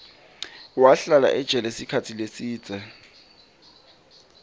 wahlala ejele sikhatsi lesidze